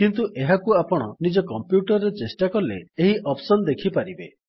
କିନ୍ତୁ ଏହାକୁ ଆପଣ ନିଜ କମ୍ପ୍ୟୁଟର୍ ରେ ଚେଷ୍ଟା କଲେ ଏହି ଅପ୍ସନ୍ ଦେଖି ପାରିବେ